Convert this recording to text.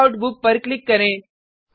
checkout book पर click करें